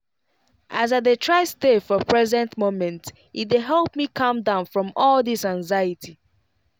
as i dey try stay for present moment e dey help me calm down from all this anxiety.